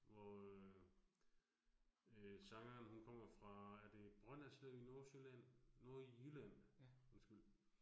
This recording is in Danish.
Hvor øh øh sangeren hun kommer fra er det Brønderslev i Nordsjælland, Nordjylland undskyld